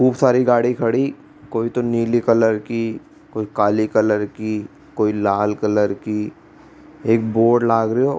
खूब सारा गाड़ी खड़ी कोइ तो नीले कलर की कोई काला कलर की कोई लाल कलर की एक बोर्ड लाग रो।